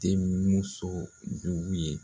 Denumuso jugu ye